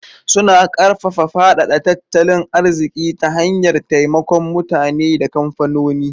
Suna karfafa faɗaɗa tattalin arziki ta hanyar taimakon mutane da kamfanoni.